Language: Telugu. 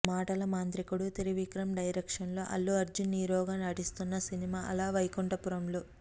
మాటల మాంత్రికుడు త్రివిక్రమ్ డైరెక్షన్ లో అల్లు అర్జున్ హీరోగా నటిస్తున్న సినిమా అల వైకుంఠపురంలో